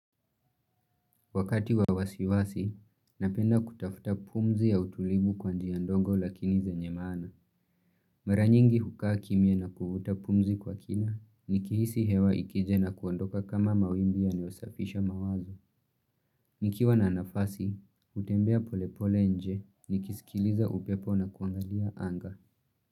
Wakati wawasiwasi, napenda kutafuta pumzi ya utulivu kwa njia ndogo lakini zenye maana. Maranyingi hukaa kimya na kuvuta pumzi kwa kina, nikihisi hewa ikije na kuondoka kama mawimbi yanayo safisha mawazo. Nikiwa na nafasi, hutembea polepole nje, nikisikiliza upepo na kuangalia anga.